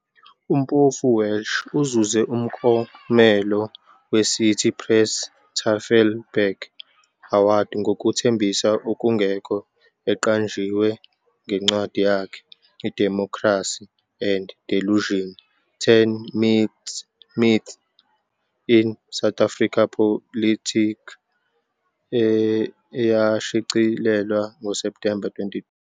UMpofu-Walsh uzuze umklomelo weCity Press-Tafelberg Award ngokuthembisa okungekho eqanjiwe ngencwadi yakhe iDemocracy and Delusion- 10 Myths in South African Politics, eyashicilelwa ngoSepthemba, 2017.